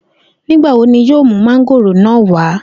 Nigbawo ni yoo mu mángóòrò naa wa?